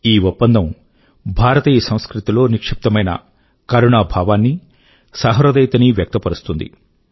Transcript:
ఈ ఒప్పందం భారతీయ సంస్కృతిలో నిక్షిప్తమైన కరుణా భావాన్ని సహృదయతనీ ప్రకటితం చేస్తుంది